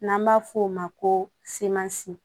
N'an b'a f'o ma ko semansi